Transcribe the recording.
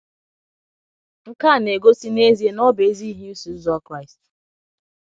Nke a na - egosi n’ezie na ọ bụ ezi ihe ịsọ Ụzọ Kraịst